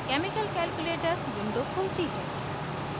chemical calculator window खुलती है